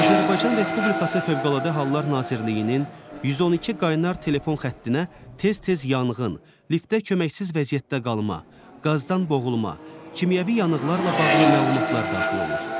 Azərbaycan Respublikası Fövqəladə Hallar Nazirliyinin 112 qaynar telefon xəttinə tez-tez yanğın, liftdə köməksiz vəziyyətdə qalma, qazdan boğulma, kimyəvi yanıqlarla bağlı məlumatlar daxil olur.